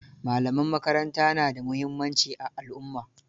Malaman makaranta na da muhimmanci a alumma.